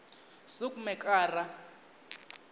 soekmekara